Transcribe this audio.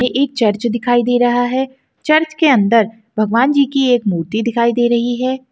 ये एक चर्च दिखाई दे रहा है चर्च के अंदर भगवान जी की एक मूर्ति दिखाई दे रही है।